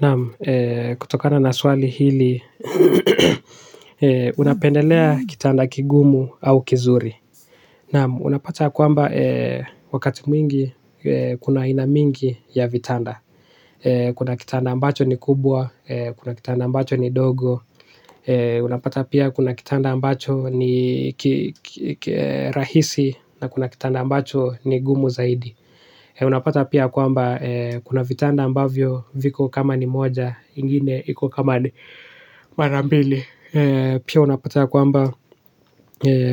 Naam, kutokana na swali hili, unapendelea kitanda kigumu au kizuri. Naam, unapata kwamba wakati mwingi kuna aina mingi ya vitanda. Kuna kitanda ambacho ni kubwa, kuna kitanda ambacho ni dogo. Unapata pia kuna kitanda ambacho ni rahisi na kuna kitanda ambacho ni gumu zaidi. Unapata pia kwamba kuna vitanda ambavyo viko kama ni moja ingine iko kama ni mara mbili. Pia unapata kwamba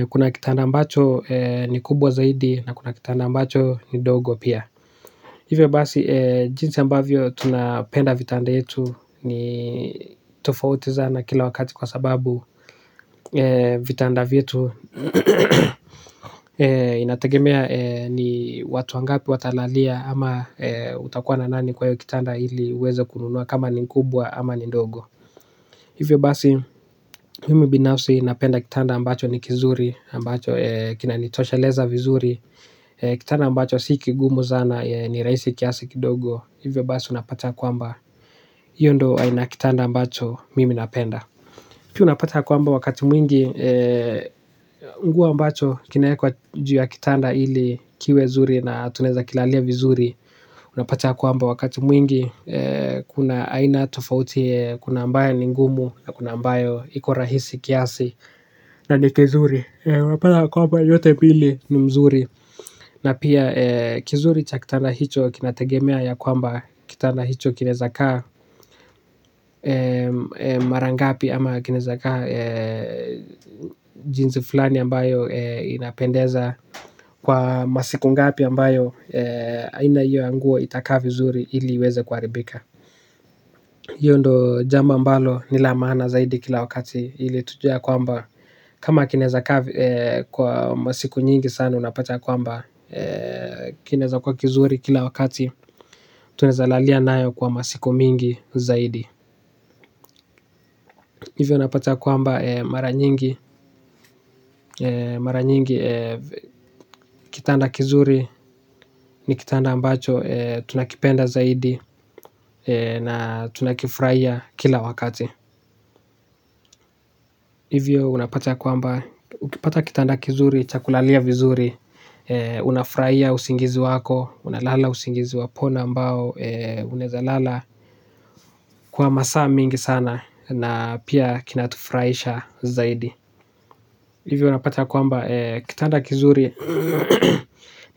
kuna kitanda ambacho ni kubwa zaidi na kuna kitanda ambacho ni dogo pia. Hivyo basi jinsi ambavyo tunapenda vitanda yetu ni tofauti zana kila wakati kwa sababu vitanda vyetu inategemea ni watu wangapi watalalia ama utakuwa na nani kwa hiyo kitanda ili uweze kununua kama ni kubwa ama ni ndogo. Hivyo basi mimi binafsi napenda kitanda ambacho ni kizuri ambacho kinanitosheleza vizuri. Kitanda ambacho si kigumu zana ni rahisi kiasi kidogo, hivyo basi unapata kwamba hiyo ndo aina ya kitanda ambacho mimi napenda. Pili unapata ya kwamba wakati mwingi nguo ambacho kinawekwa juu ya kitanda ili kiwe zuri na tunaweza kilalia vizuri, unapata ya kwamba wakati mwingi kuna aina tofauti kuna ambayo ni ngumu na kuna ambayo iko rahisi kiasi na ni kizuri. Unapata ya kwamba yote mbili ni mzuri na pia kizuri cha kitanda hicho kinategemea ya kwamba kitanda hicho kinaweza kaa mara ngapi ama kinaweza kaa. Jinsi fulani ambayo inapendeza kwa masiku ngapi ambayo aina hiyo ya nguo itakaa vizuri ili iweze kuharibika. Hiyo ndo jambo ambalo ni la maana zaidi kila wakati ili tujue ya kwamba kama kinaweza kaa kwa masiku nyingi sana unapata kwamba kinaweza kuwa kizuri kila wakati, tunaweza lalia nayo kwa masiku mingi zaidi. Hivyo unapata kwamba mara nyingi, mara nyingi kitanda kizuri ni kitanda ambacho tunakipenda zaidi na tunakifurahia kila wakati. Hivyo unapata kwamba, ukipata kitanda kizuri cha kulalia vizuri unafurahia usingizi wako, unalala usingizi wa pono ambao. Unaweza lala kwa masaa mingi sana na pia kinatufurahisha zaidi. Hivyo unapata kwamba kitanda kizuri.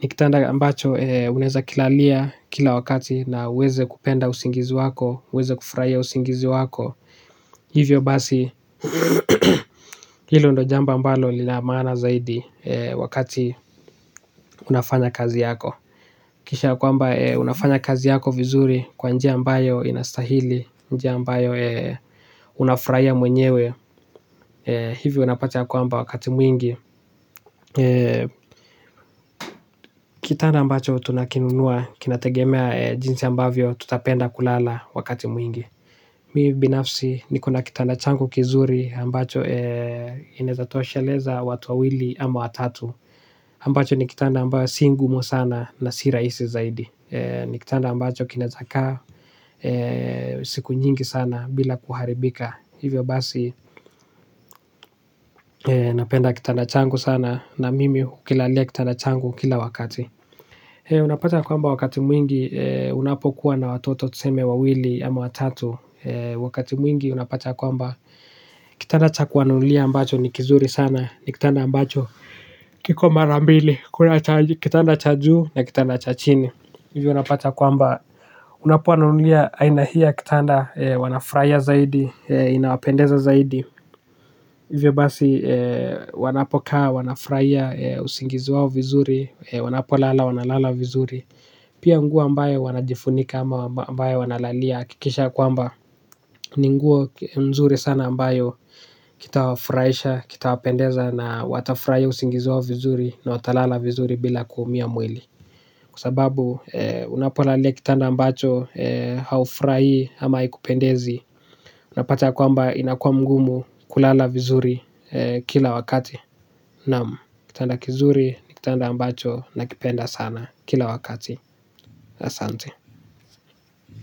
Ni kitanda ambacho unaweza kilalia kila wakati na uweze kupenda usingizi wako uweze kufurahia usingizi wako. Hivyo basi. Hilo ndo jambo ambalo lina maana zaidi wakati unafanya kazi yako. Kisha kwamba unafanya kazi yako vizuri kwa njia ambayo inastahili, njia ambayo unafurahia mwenyewe, hivyo unapata kwamba wakati mwingi kitanda ambacho tunakinunua kinategemea jinsi ambavyo tutapenda kulala wakati mwingi. Mi binafsi niko na kitanda changu kizuri ambacho inawezatosheleza watu wawili ama watatu. Ambacho ni kitanda ambayo si ngumu sana na si rahisi zaidi, ni kitanda ambacho kinaweza kaa siku nyingi sana bila kuharibika. Hivyo basi napenda kitanda changu sana na mimi hukilalia kitanda changu kila wakati. Unapata kwamba wakati mwingi unapokuwa na watoto tuseme wawili ama watatu, wakati mwingi unapata kwamba kitanda cha kuwanunulia ambacho ni kizuri sana ni kitanda ambacho kiko mara mbili, kitanda cha juu na kitanda cha chini. Hivyo unapata kwamba unapowanunulia aina hii ya kitanda wanafurahia zaidi, inawapendeza zaidi. Hivyo basi wanapokaa, wanafurahia, usingizi wao vizuri, wanapolala wanalala vizuri. Pia nguo ambayo wanajifunika ama ambayo wanalalia hakikisha ya kwamba. Ni nguo nzuri sana ambayo kitawafurahisha, kitawapendeza na watafurahia usingizi wao vizuri na watalala vizuri bila kuumia mwili. Kwa sababu unapolalia kitanda ambacho haufurahii ama haikupendezi unapata ya kwamba inakuwa mgumu kulala vizuri kila wakati, naam. Kitanda kizuri ni kitanda ambacho nakipenda sana kila wakati, asante.